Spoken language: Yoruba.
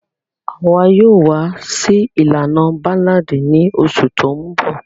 Àwa yoo wa si ilana Ballad ni osù to nbò